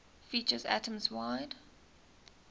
features atoms wide